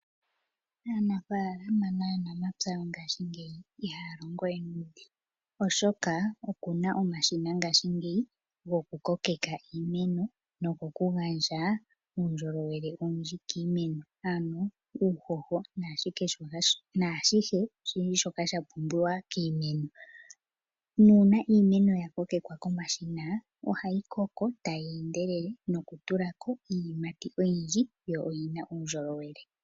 Aanafalama naanamapya yongashingeyi iha longowe nuudhingu oshoka oku na omashina ngashingeyi goku kokeka iimeno. No goku gandja uundjolowele owundji kiimeno ano uuhoho naashihe shoka sha pumbiwa kiimeno. Nuuna iimeno ya kokekwa komashina oha yi koko tayi endelele noku tulako iiyimati oyindji yo oyina uundjolowele.